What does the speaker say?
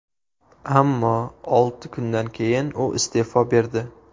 Ammo olti kundan keyin u iste’fo berdi .